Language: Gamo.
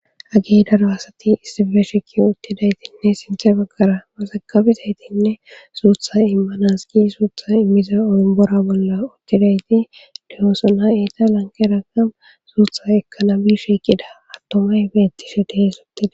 Hage daro asati issife shikki uttidaytinne sinthe baggara masakabizaytinne suutha immanas gi suutha immiza olimbora bolla uttidayti dihoosona eta lankera kam suutha ekka nabi shiqida attomay beettishe dehe sotti